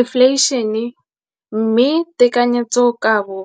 Infleišene, mme tekanyetsokabo